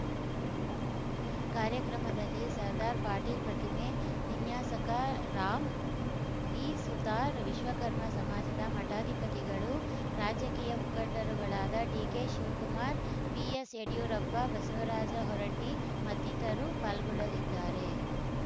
ಕಾರ್ಯಕ್ರಮದಲ್ಲಿ ಸರ್ದಾರ್‌ ಪಟೇಲ್‌ ಪ್ರತಿಮೆ ವಿನ್ಯಾಸಕ ರಾಮ್‌ ವಿ ಸುತಾರ್‌ ವಿಶ್ವಕರ್ಮ ಸಮಾಜದ ಮಠಾಧಿಪತಿಗಳುರಾಜಕೀಯ ಮುಖಂಡರುಗಳಾದ ಡಿಕೆಶಿವಕುಮಾರ್‌ ಬಿಎಸ್‌ ಯಡಿಯೂರಪ್ಪ ಬಸವರಾಜ ಹೊರಟ್ಟಿಮತ್ತಿತರರು ಪಾಲ್ಗೊಳ್ಳಲಿದ್ದಾರೆ